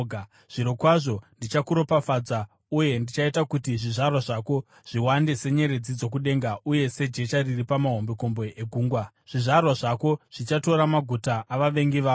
zvirokwazvo ndichakuropafadza uye ndichaita kuti zvizvarwa zvako zviwande senyeredzi dzokudenga uye sejecha riri pamahombekombe egungwa. Zvizvarwa zvako zvichatora maguta avavengi vavo,